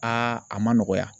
a ma nɔgɔya.